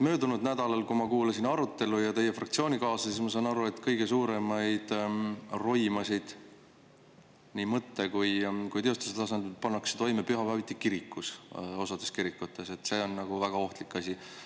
Möödunud nädalal, kui ma kuulasin arutelul teie fraktsioonikaaslasi, siis ma sain aru, et kõige suuremaid roimasid, nii mõtte kui ka teostuse tasandil, pannakse toime pühapäeviti kirikus, osades kirikutes, et see olevat nagu väga ohtlik asi.